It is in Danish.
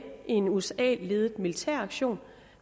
i en usa ledet militæraktion